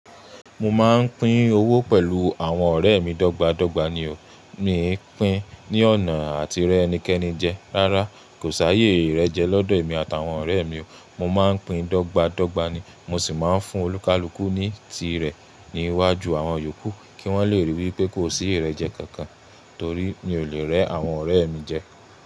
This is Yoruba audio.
Mo máa ń pín owó pẹ̀lú àwọn ọ̀rẹ́ mi dọ́gba dọ́gba ni o. Mí e pín ní ọ̀nà àti rẹ ẹnikẹ́ni jẹ. Rárá, kò s'àyè ìrẹ́jẹ lọ́dọ̀ èmi àti awọn ọ̀rẹ́ mi o. Mo máa ń pín dọ́gba dọ́gba ni. Mo sì máa ń fún olúkalùkù ní tirẹ̀ níwájú àwọn yòókù kí wọ́n le rí i wípé kò sí ìrẹ́jẹ kankan torí mi ò lè rẹ́ àwọn ọ̀rẹ́ mi jẹ.